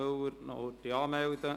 Müller soll sich bitte anmelden.